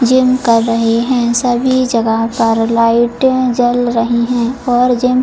gym कर रहे हैं सभी जगह सारा लाइट जल रही है और जिम --